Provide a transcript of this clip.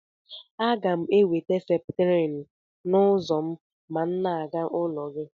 Aga m enweta septrin n'ụzọ ma m na-aga n'ụlọ gị